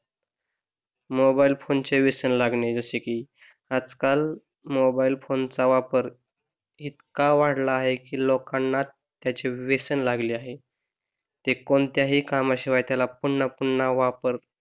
Mobile phone चे व्यसन लागणे जसे कि आज काल मोबाईल फोन चा वापर इतका वाढला आहे कि लोकांना त्याचे व्यसन लागले आहे. ते कोणत्याही कामाशिवाय पुन्हा पुन्हा वापर,